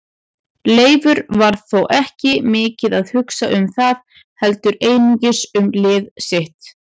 Leifur var þó ekki mikið að hugsa um það heldur einungis um lið sitt.